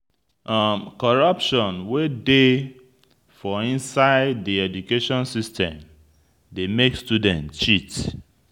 Coruption wey dey for inside di education system dey make student cheat